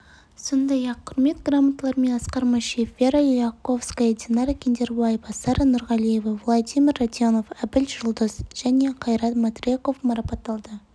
сондай-ақ құрмет грамоталарымен асқар машев вера ляховская динара киндербаева сара нұрғалиева владимир радионов абіл жұлдыз және қайрат матреков марапатталды